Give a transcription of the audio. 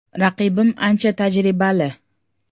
Raqibim ancha tajribali.